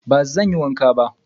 Bazan iya wanka ba.